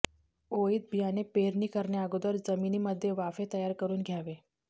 ओळीत बियाणे पेरणी करण्याअगोदर जमिनीमध्ये वाफे तयार करून घ्यावे